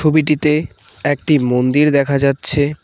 ছবিটিতে একটি মন্দির দেখা যাচ্ছে।